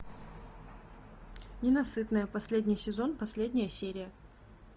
ненасытная последний сезон последняя серия